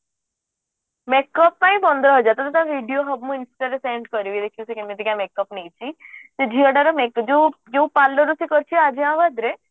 make up ପାଇଁ ପନ୍ଦର ହଜାର ତତେ ମୁଁ ସବୁ video insta ରେ send କରିବି ଦେଖିବୁ ସେ କେମିତିକା make up ନେଇଛି ସେ ଝିଅଟାର make ଯୋଉ ଯୋଉ ସେ palourରୁ ସେ କରିଥିଲା